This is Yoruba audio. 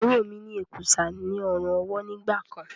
Àbúrò mi ní èkùsá ní ọrùn ọwó nígbàkan.